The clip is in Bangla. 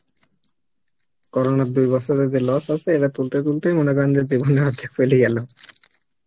Corona দু বছর এ যে loss আসে সেটা তুলতে তুলতেই মনে করেন যে জীবন অর্ধেক চলে গেলো